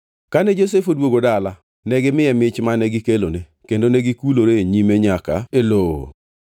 Kane Josef odwogo dala, negimiye mich mane gikelone, kendo negikulore e nyime nyaka e lowo.